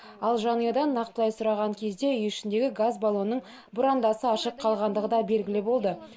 ал жанұядан нақтылай сұраған кезде үй ішіндегі газ балонның бұрандасы ашық қалғандығы да белгілі болды